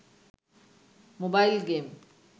mobile game